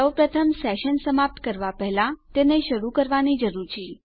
સૌપ્રથમ સેશન સમાપ્ત કરવા પહેલા તેને શરૂ કરવાની જરૂર છે